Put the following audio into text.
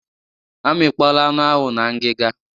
Amikpọọla anụ ahụ na ngiga.